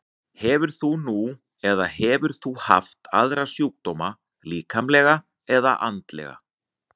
Hefur þú nú eða hefur þú haft aðra sjúkdóma, líkamlega eða andlega?